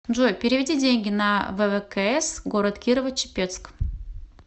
джой переведи деньги на ввкс город кирово чепецк